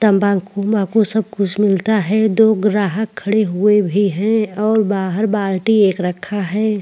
तंबाखु वंभाकू सब कुछ मिलता है दो ग्राहक खड़े हुए भी है और बाहर बाल्टी एक रखा है।